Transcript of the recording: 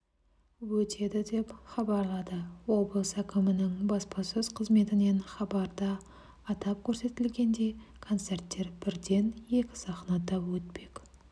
өтеді деп хабарлады облыс әкімінің баспасөз қызметінен хабарда атап көрсетілгендей концерттер бірден екі сахнада өтпек